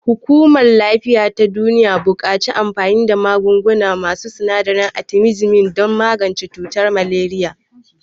Hukumar lafiya ta duniya buƙaci anfani da magunguna masu sinadarin artimisinin don magance cutar maleriya.